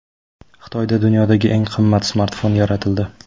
Xitoyda dunyodagi eng qimmat smartfon yaratildi.